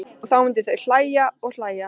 Og þá myndu þau hlæja og hlæja.